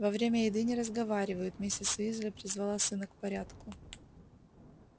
во время еды не разговаривают миссис уйзли призвала сына к порядку